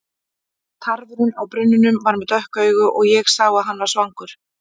Tarfurinn á brunninum var með dökk augu og ég sá að hann var svangur.